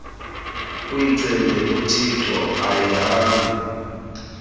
uyicele kuthixo ayihambi